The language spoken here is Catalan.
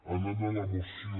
anant a la moció